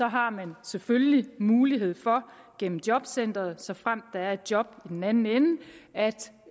har man selvfølgelig mulighed for gennem jobcenteret såfremt der er et job i den anden ende